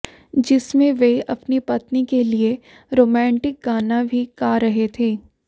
जिसमें वे अपनी पत्नी के लिए रोमांटिक गाना भी गा रहे थे